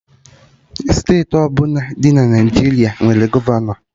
Steeti ọbụla dị na Naijiria nwere gọvanọ